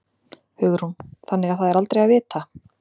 Hugrún: Þannig það er aldrei að vita?